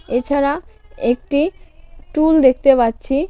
এছাড়া একটি টুল দেখতে পাচ্ছি .